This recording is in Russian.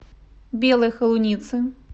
белой холуницы